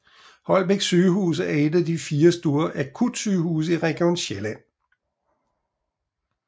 Holbæk Sygehus er et af de fire store akutsygehuse i Region Sjælland